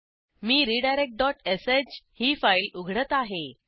मी redirectश ही फाईल उघडत आहे